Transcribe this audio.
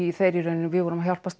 þeir í rauninni við vorum að hjálpast